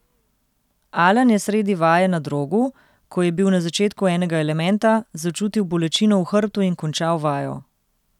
Alen je sredi vaje na drogu, ko je bil na začetku enega elementa, začutil bolečino v hrbtu in končal vajo.